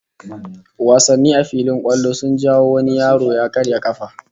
Wasanni a filin kwallo sun jawo wani yaro ya karya kafa